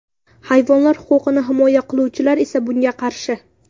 Hayvonlar huquqini himoya qiluvchilar esa bunga qarshi.